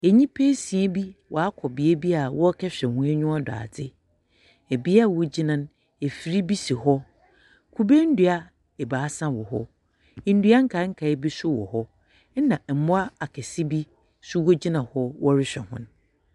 Nyimpa esia bi wɔakɔ beebi a wɔrekɛhwɛ hɔ enyiwa do adeɛ. Bea a wogyina no, afir bi si hɔ. Kube ndua ebaasa wɔ hɔ. Ndua nkaankaa bi nso wɔ hɔ, na mboa akɛse bi nso wogyina hɔ wɔrehwɛ hɔn.